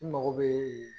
N mago bɛ